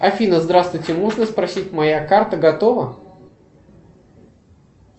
афина здравствуйте можно спросить моя карта готова